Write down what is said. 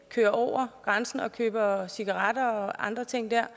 kører over grænsen og køber cigaretter og andre ting der